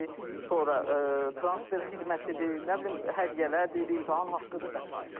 sonra transfer xidmətidir, nə bilim hədiyyələrdir, imtahan haqqıdır və sair.